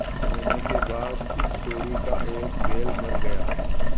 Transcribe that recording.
एक महीने के बाद इस जोड़ी का एक बैल मर गया